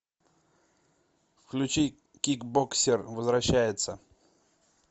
включи кикбоксер возвращается